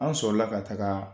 An sɔrɔla ka taga